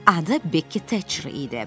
Adı Bekki Taçri idi.